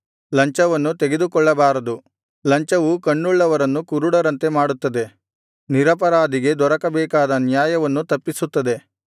ಲಂಚವನ್ನು ತೆಗೆದುಕೊಳ್ಳಬಾರದು ಲಂಚವು ಕಣ್ಣುಳ್ಳವರನ್ನು ಕುರುಡರಂತೆ ಮಾಡುತ್ತದೆ ನಿರಪರಾಧಿಗೆ ದೊರಕಬೇಕಾದ ನ್ಯಾಯವನ್ನು ತಪ್ಪಿಸುತ್ತದೆ